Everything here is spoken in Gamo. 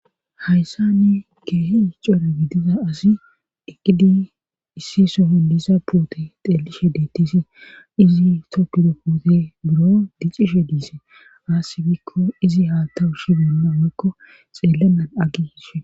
Hayssani keehi coore gidiza asi deqqidi issi soholisa puute xeelishe deettisi izi toppido puute buro diccishe diise aassi bikko izi haa tawu shi beenna waikko xeellennan aggihishe.